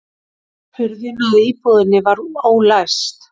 Hurðin að íbúðinni var ólæst